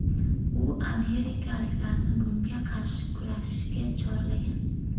U amerikaliklarni bunga qarshi kurashishga chorlagan.